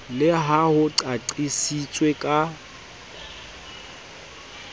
le ha ho qaqisitswe ka